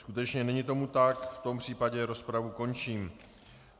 Skutečně není tomu tak, v tom případě rozpravu končím.